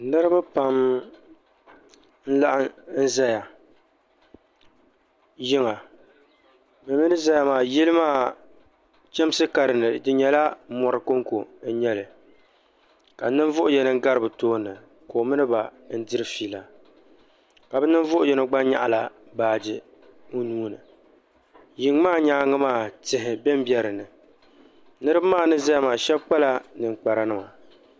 Niribi pam n laɣim zaya yiŋa bɛ mi ni laɣim zaya maa yili maa chamsi ka din ni di nyala mɔri konkɔ n nya li ka ninvuɣi yini n gari bɛ tooni ka o mini ba diri fiila ka bi ninvuɣu yini gba nyaɣila baagi o nuuni yiŋ maa nyaangi maa tihi benbeni niribi maa ni ʒeya maa shɛb kpala ninkpariti.